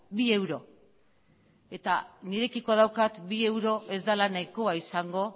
bi euro eta nirekiko daukat bi euro ez dela nahikoa izango